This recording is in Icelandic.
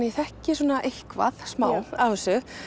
ég þekki svona eitthvað smá af þessu